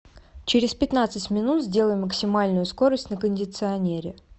через пятнадцать минут сделай максимальную скорость на кондиционере